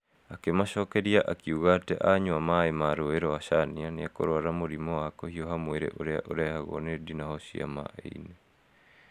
Akĩmacokeria akĩuga atĩ anyua maaĩ ma rũũĩ rwa caania nĩekũruara mũrimũ wa kũhiũha mwĩrĩ ũrĩa ũrehagwo nĩ ndinoho cia maai-inĩ.